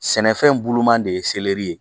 Sɛnɛfɛn buluman de ye ye